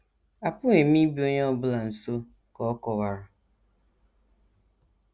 Apụghị m ịbịa onye ọ bụla nso, ka ọ kọwara.